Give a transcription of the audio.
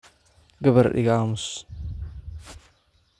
Gabar iga aamus.